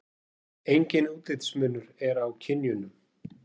Enginn útlitsmunur er á kynjunum.